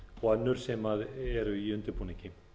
og önnur sem eru í undirbúningi